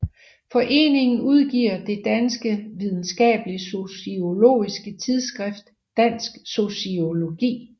Foreningen udgiver det danske videnskabelige sociologiske tidsskrift Dansk Sociologi